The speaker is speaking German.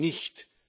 nicht